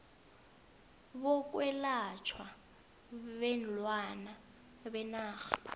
bokwelatjhwa kweenlwana benarha